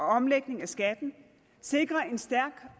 omlægning af skatten sikrer en stærk